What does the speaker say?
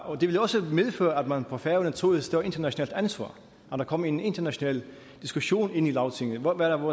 og det ville også medføre at man på færøerne tog et større internationalt ansvar at der kom en international diskussion i lagtinget om